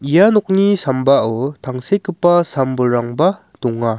ia nokni sambao tangsekgipa sam-bolrangba donga.